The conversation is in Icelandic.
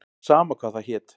Sama hvað það hét.